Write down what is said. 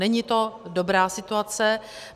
Není to dobrá situace.